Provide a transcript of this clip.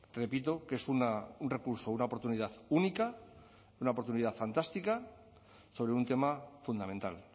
repito que es un recurso una oportunidad única una oportunidad fantástica sobre un tema fundamental